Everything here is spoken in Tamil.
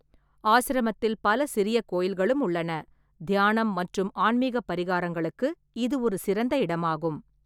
ஆசிரமத்தில் பல சிறிய கோயில்களும் உள்ளன, தியானம் மற்றும் ஆன்மீகப் பரிகாரங்களுக்கு இது ஒரு சிறந்த இடமாகும்.